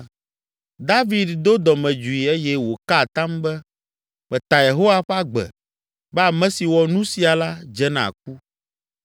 David do dɔmedzoe eye wòka atam be, “Meta Yehowa ƒe agbe be ame si wɔ nu sia la dze na ku!